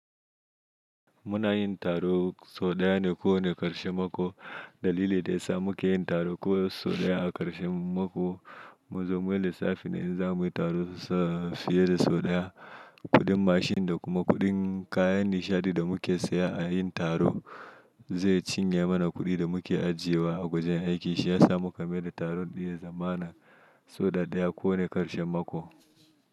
Muna yin taro sau ɗaya ne ko wane karshe mako. Dalili da ya sa muke yin taro ko so ɗaya a karshen mako mun zo mu yi lissafi na in zamu yi taro fiye da sau ɗaya, kuɗin mashin da kuma kuɗin kayan nishaɗi da muke saya a yayin taro zai cinye mana kuɗin da muke ajiyewa a gwajin aiki. Shiyasa muka maye da taro ɗin ya zamana sau ɗaya ko wane karshen mako.